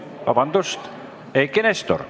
Vabandust, Eiki Nestor!